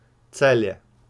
Celje.